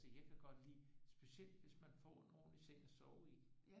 Altså jeg kan godt lide specielt hvis man får en ordentlig seng at sove I